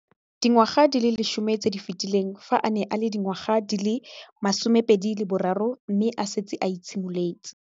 Dingwaga di le 10 tse di fetileng, fa a ne a le dingwaga di le 23 mme a setse a itshimoletse